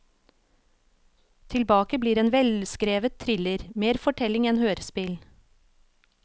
Tilbake blir en velskrevet thriller, mer fortelling enn hørespill.